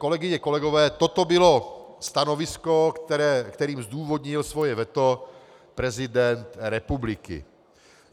Kolegyně, kolegové, toto bylo stanovisko, kterým zdůvodnil svoje veto prezident republiky.